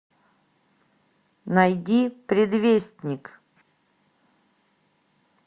найди предвестник